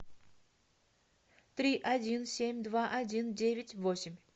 три один семь два один девять восемь